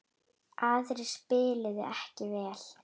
Aðrir spiluðu ekki vel.